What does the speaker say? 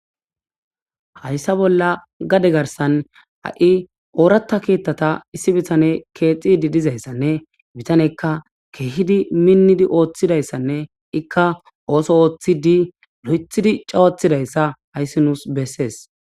Haysa bolla gade garisan ha oratha kethata issi bitaney kexizi dizaysanee bitaneyka kehidi mindi othizaysanee eka osoothidi loyithidi cawatizaysa hayis nu'su beses